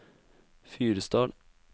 Fyresdal